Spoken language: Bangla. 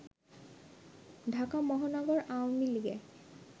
ঢাকা মহানগর আওয়ামী লীগে